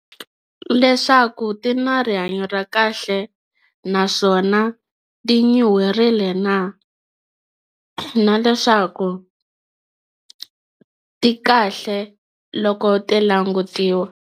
Leswaku ti na rihanyo ra kahle naswona ti nyuherile na na leswaku ti kahle loko ti langutiwa.